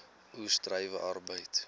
oes druiwe arbeid